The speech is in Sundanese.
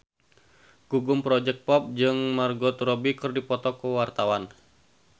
Gugum Project Pop jeung Margot Robbie keur dipoto ku wartawan